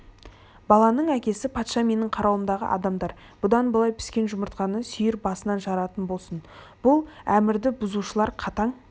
баланың әкесі патша менің қарауымдағы адамдар бұдан былай піскен жұмыртқаны сүйір басынан жаратын болсын бұл әмірді бұзушылар қатаң